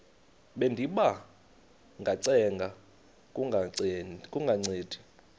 bendiba ngacenga kungancedi